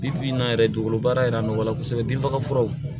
Bi bi in na yɛrɛ dugukolo baara yɛrɛ nɔgɔ la kosɛbɛ binfagafuraw